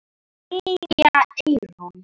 Silja Eyrún.